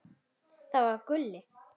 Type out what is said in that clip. Það var Gulli.